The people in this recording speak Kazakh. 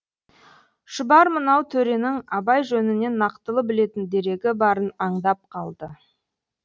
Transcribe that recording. шұбар мынау төренің абай жөнінен нақтылы білетін дерегі барын аңдап қалды